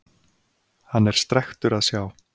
Hann er strekktur að sjá.